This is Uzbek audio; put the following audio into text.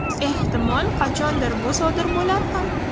Ehtimol, qachondir bu sodir bo‘lar ham.